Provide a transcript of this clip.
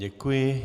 Děkuji.